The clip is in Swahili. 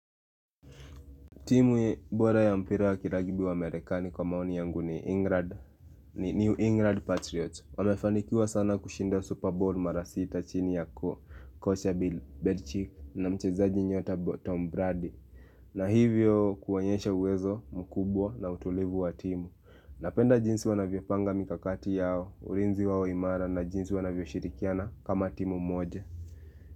Timu bora ya mpira wa kilagibi wa merekani kwa maoni yangu ni England New EnglandPatriots Wamefanikiwa sana kushinda Super Bowl marasita chini yako Coacha Belichick na mchezaji nyota Tom Brady na hivyo kuwanyeshe uwezo mkubwa na utulivu wa timu Napenda jinsi wanavyo panga mikakati yao Urinzi wao imara na jinsi wanavyo shirikiana kama timu moje.